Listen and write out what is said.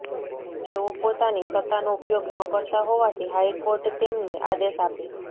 તેઓ પોતાની સત્તાનો ઉપયોગ ન કરતાં હોવાથી હાઇકોર્ટ તેમને આદેશ આપે